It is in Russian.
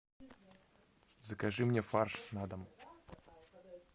закажи мне фарш на дом